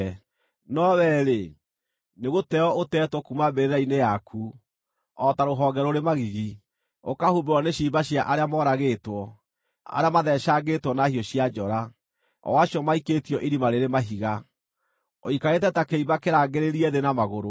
No wee-rĩ, nĩgũteo ũtetwo kuuma mbĩrĩra-inĩ yaku, o ta rũhonge rũrĩ magigi; ũkahumbĩrwo nĩ ciimba cia arĩa moragĩtwo, arĩa matheecangĩtwo na hiũ cia njora, o acio maikĩtio irima rĩrĩ mahiga. Ũikarĩte ta kĩimba kĩrangĩrĩrie thĩ na magũrũ,